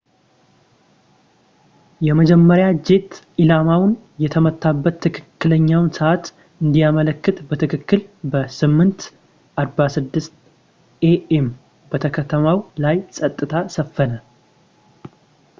የመጀመሪያው ጄት ኢላማውን የመታበት ትክክለኛውን ሰዕት እንዲያመላክት በትክክል በ8:46 a.m በከተማው ላይ ጸጥታ ሰፈነ